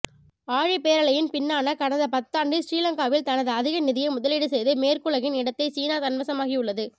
ஆ ழிப்பேரலையின் பின்னான கடந்த பத்தாண்டில் சிறிலங்காவில் தனது அதிக நிதியை முதலீடு செய்து மேற்குலகின் இடத்தை சீனா தன்வசமாக்கியுள்ளது